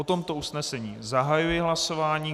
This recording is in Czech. O tomto usnesení zahajuji hlasování.